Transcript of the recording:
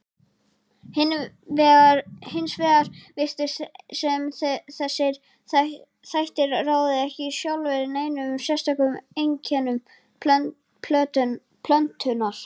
Hins vegar virtist sem þessir þættir ráði ekki sjálfir neinum sérstökum einkennum plöntunnar.